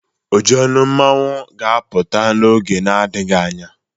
Ojionu masquerade ga-apụta n'oge adịghị anya